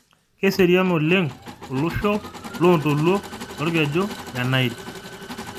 Keserian oleng' olosho loloontoluo lolkeju le Nail